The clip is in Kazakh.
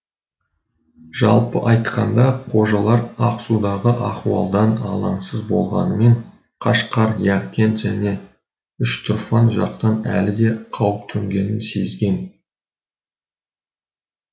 жалпы айтқанда қожалар ақсудағы ахуалдан алаңсыз болғанымен қашғар яркент және үштұрфан жақтан әлі де қауіп төнгенін сезген